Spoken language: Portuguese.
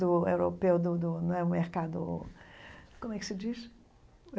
Do europeu do do... Não é o mercado... Como é que se diz?